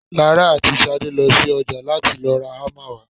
Lara àti Ṣadé lọ sí ọjà láti lọ ra hámà wá.